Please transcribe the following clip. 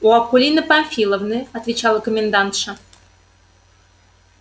у акулины памфиловны отвечала комендантша